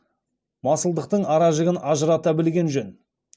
масылдықтың ара жігін ажырата білген жөн